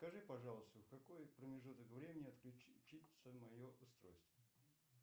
скажи пожалуйста в какой промежуток времени отключится мое устройство